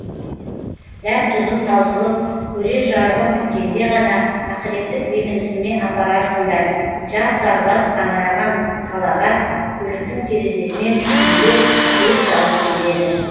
дәм тұзым таусылып көрер жарығым біткенде ғана ақыреттік бекінісіме апарарсыңдар жас сарбаз қаңыраған қалаға көліктің терезесінен түйіле көз салып келеді